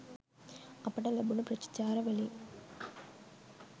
අපිට ලැබුණු ප්‍රතිචාර වලින්